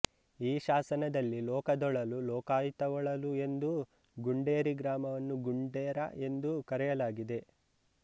ಈ ಶಾಸನದಲ್ಲಿ ಲೋಕದೊಳಲು ಲೋಕಾಯ್ತವೊಳಲು ಎಂದೂ ಗುಂಡೇರಿ ಗ್ರಾಮವನ್ನು ಗುಣ್ಡೆರ ಎಂದೂ ಕರೆಯಲಾಗಿದೆ